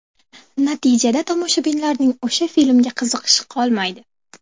Natijada tomoshabinlarning o‘sha filmga qiziqishi qolmaydi.